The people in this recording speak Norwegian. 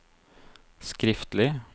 skriftlig